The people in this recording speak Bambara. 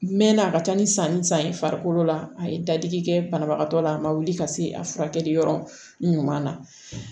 N mɛɛnna a ka ca ni sanni san ye farikolo la a ye dadigi kɛ banabagatɔ la a ma wuli ka se a furakɛli yɔrɔ ɲuman na